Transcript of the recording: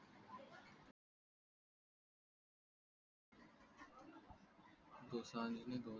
दोसांज नी